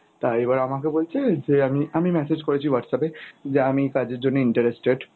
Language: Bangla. তা এইবার আমাকে বলছে যে আমি, আমি message করেছি Whatsapp এ যে আমি কাজের জন্য interested,